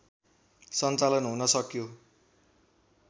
सञ्चालन हुन सक्यो